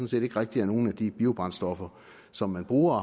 set ikke rigtig er nogen af de biobrændstoffer som man bruger